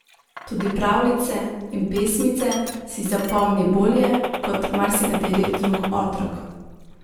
Tudi pravljice in pesmice si zapomni bolje kot marsikateri drug otrok.